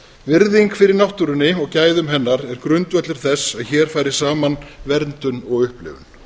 virðing fyrir náttúrunni og gæðum hennar er grundvöllur þess að hér fari saman verndun og upplifun